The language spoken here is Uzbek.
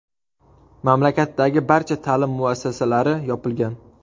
Mamlakatdagi barcha ta’lim muassasalari yopilgan .